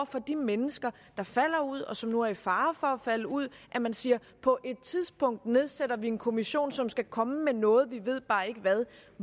for de mennesker der falder ud og dem som nu er i fare for at falde ud at man siger på et tidspunkt nedsætter vi en kommission som skal komme med noget vi ved bare ikke hvad